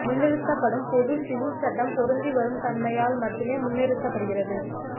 முன்னிறுத்தப்படும் பொது சிவில் சட்டம் பொருந்தி வரும் தன்மையால் மட்டுமே முன்னிறுத்தப் படுகிறது